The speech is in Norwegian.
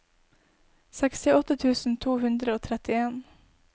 sekstiåtte tusen to hundre og trettien